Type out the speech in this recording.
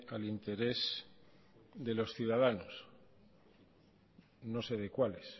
al interés de los ciudadanos no sé de cuáles